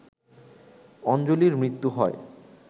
অঞ্জলীর মৃত্যু হয়